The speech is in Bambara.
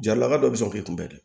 Jalaka dɔ bɛ se k'o kunbɛn